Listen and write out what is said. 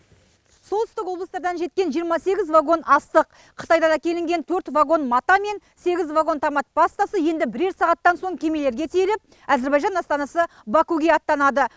солтүстік облыстардан жеткен жиырма сегіз вагон астық қытайдан әкелінген төрт вагон мата мен сегіз вагон томат пастасы енді бірер сағаттан соң кемелерге тиеліп әзербайжан астанасы бакуге аттанады